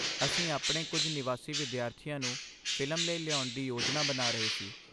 ਅਸੀਂ ਆਪਣੇ ਕੁਝ ਨਿਵਾਸੀ ਵਿਦਿਆਰਥੀਆਂ ਨੂੰ ਫਿਲਮ ਲਈ ਲਿਆਉਣ ਦੀ ਯੋਜਨਾ ਬਣਾ ਰਹੇ ਸੀ।